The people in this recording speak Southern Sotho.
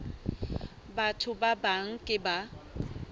batho ba bang ke ba